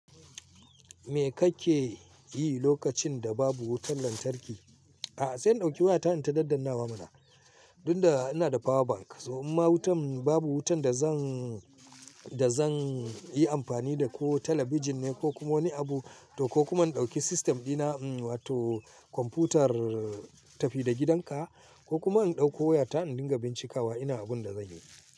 Me kake yi lokacin da babu wutar lantarki? A'a sai in ɗauki wayata in ta daddanawa mana. Tun da ina da power bank, so in ma wutan babu wutan da zan, da zan yi amfani da ko talabijin ne ko kuma wani abu to ko kuma in ɗauki system dina mm wato kwamfutar tafi da gidanka ko kuma in ɗauko wayata in dinga bincikawa ina abun da zanyi.